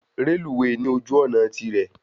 Reluwe ní ojú òná tirě